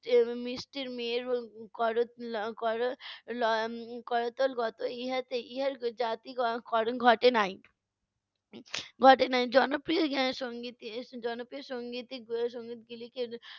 করতল গত ইহাতে ইহার জাতি কর~ করণ ঘটে নাই, ঘটে নাই জনপ্রিয় এর সংগীতে জনপ্রিয় সংগীতই সঙ্গীত গুলিকে